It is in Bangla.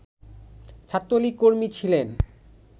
ছাত্রলীগ কর্মী ছিলেন